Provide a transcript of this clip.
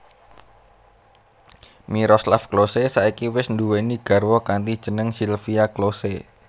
Miroslav Klose saiki wis nduwèni garwa kanthi jeneng Silvia Klose